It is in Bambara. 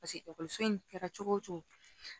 ekɔliso in kɛra cogo o cogo